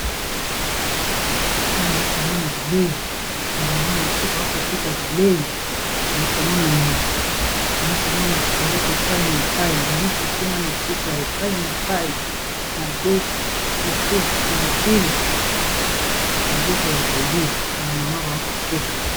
awa komona bilei bamama na biso baakoteka bilei naya komona nyama nayakomona biloko epai na epai mbisi kuna na suka ya epai na epai madesu fufu pilipili biloko ya kolia bamama bazakoteka